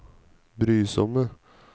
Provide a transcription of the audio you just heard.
brysomme